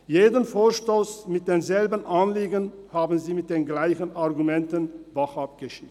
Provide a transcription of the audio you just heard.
Jeden Vorstoss mit denselben Anliegen haben Sie mit denselben Argumenten bachab geschickt.